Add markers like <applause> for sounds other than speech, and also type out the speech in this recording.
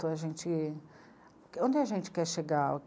<unintelligible> Onde a gente quer chegar?